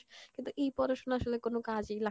কিন্তু এই পড়াশোনা আসলে কোনো কাজই